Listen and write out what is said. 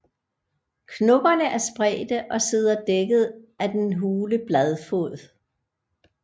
Knopperne er spredte og sidder dækket af den hule bladfod